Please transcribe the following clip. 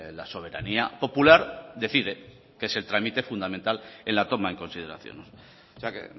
la soberanía popular decide que es el trámite fundamental en la toma en consideración o sea que